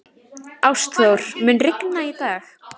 Ástþór, mun rigna í dag?